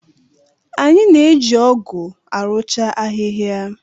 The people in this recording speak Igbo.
Anyị na-eji ọ́gụ̀ arụcha ahịhịa.